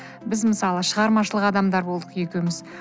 біз мысалы шығармашылық адамдары болдық екеуіміз